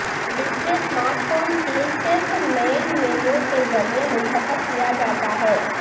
display smart phone cell صرف main menu کے ذریعے منتخب کیا جاتا ہے